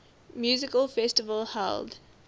music festival held